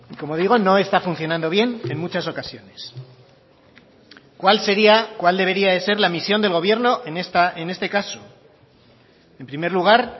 como digo no está funcionando bien en muchas ocasiones cuál sería cuál debería de ser la misión del gobierno en este caso en primer lugar